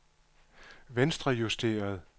venstrejusteret